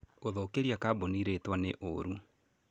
Gũthũkĩria kambũni rĩtwa nĩ ũrũ.